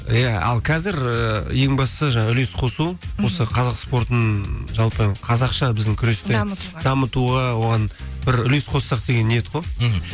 иә ал қазір ы ең бастысы жаңағы үлес қосу мхм осы қазақ спортын жалпы қазақша біздің күресте дамытуға дамытуға оған бір үлес қоссақ деген ниет қой мхм